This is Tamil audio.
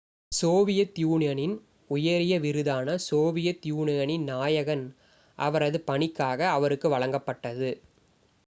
சோவியத் யூனியனின் உயரிய விருதான சோவியத் யூனியனின் நாயகன்' அவரது பணிக்காக அவருக்கு வழங்கப்பட்டது